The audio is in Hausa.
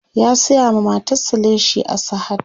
ya saya ma matar sa leshi a sahad